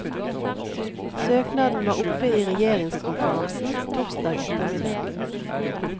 Søknaden var oppe i regjeringskonferansen torsdag ettermiddag.